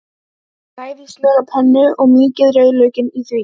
Bræðið smjör á pönnu og mýkið rauðlaukinn í því.